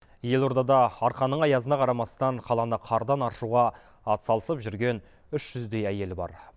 елордада арқаның аязына қарамастан қаланы қардан аршуға атсалысып жүрген үш жүздей әйел бар